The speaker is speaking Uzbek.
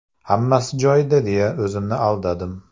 Hammasi joyida deya o‘zimni aldadim.